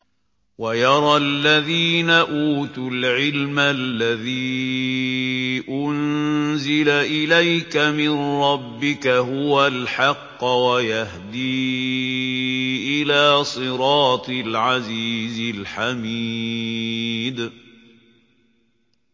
وَيَرَى الَّذِينَ أُوتُوا الْعِلْمَ الَّذِي أُنزِلَ إِلَيْكَ مِن رَّبِّكَ هُوَ الْحَقَّ وَيَهْدِي إِلَىٰ صِرَاطِ الْعَزِيزِ الْحَمِيدِ